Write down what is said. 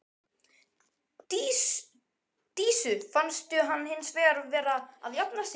Dísu fannst hann hins vegar vera að jafna sig.